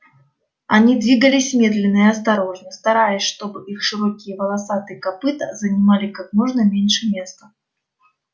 они двигались медленно и осторожно стараясь чтобы их широкие волосатые копыта занимали как можно меньше места